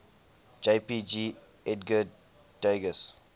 jpg edgar degas